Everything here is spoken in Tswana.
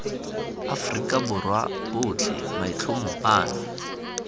afrika borwa botlhe maitlhomo ano